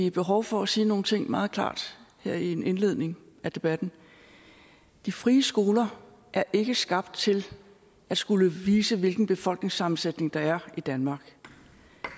et behov for at sige nogle ting meget klart her i en indledning af debatten de frie skoler er ikke skabt til at skulle vise hvilken befolkningssammensætning der er i danmark